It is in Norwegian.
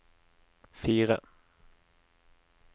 fire